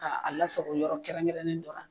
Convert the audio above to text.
Ka a lasago yɔrɔ kɛrɛnkɛrɛnnen dɔ la